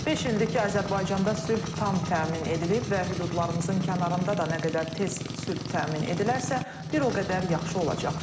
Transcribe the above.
Beş ildir ki, Azərbaycanda sülh tam təmin edilib və hüdudlarımızın kənarında da nə qədər tez sülh təmin edilərsə, bir o qədər yaxşı olacaq.